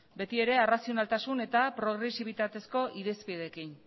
beti ere arrazionaltasun eta progresibitatezko irizpideekin